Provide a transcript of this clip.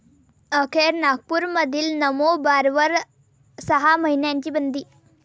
अखेर नागपूरमधील नमो बारवर सहा महिन्यांची बंदी